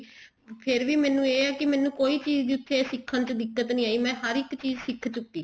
ਫ਼ੇਰ ਵੀ ਮੈਨੂੰ ਇਹ ਹੈ ਕੀ ਮੈਨੂੰ ਕੋਈ ਚੀਜ਼ ਉੱਥੇ ਸਿੱਖਣ ਚ ਕੋਈ ਦਿੱਕਤ ਨੀ ਆਈ ਮੈਂ ਹਰ ਇੱਕ ਚੀਜ਼ ਸਿੱਖ ਚੁੱਕੀ